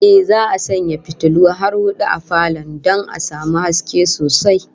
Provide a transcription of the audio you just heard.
Ehh, za'a sanya fitulu har hudu a falon don a samu haske sosai